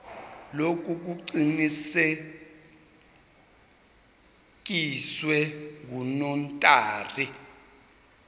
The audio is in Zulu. lokhu kuqinisekiswe ngunotary